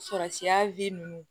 Sɔrɔsiya ninnu